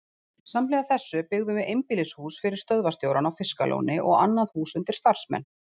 Samhliða þessu byggðum við einbýlishús fyrir stöðvarstjórann á Fiskalóni og annað hús undir starfsmenn.